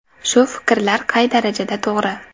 Shu fikrlar qay darajada to‘g‘ri?